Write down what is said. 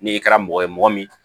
N'i kɛra mɔgɔ ye mɔgɔ min